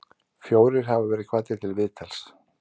Fjórir hafa verið kvaddir til viðtals